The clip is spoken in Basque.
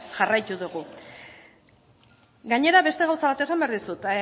jarraitu dugu gainera beste gauza bat esan behar dizut